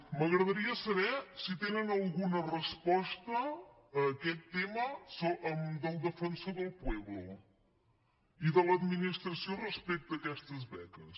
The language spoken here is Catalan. m’agradaria saber si tenen alguna resposta a aquest tema del defensor del pueblo i de l’administració respecte a aquestes beques